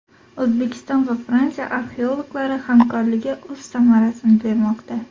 O‘zbekiston va Fransiya arxeologlari hamkorligi o‘z samarasini bermoqda.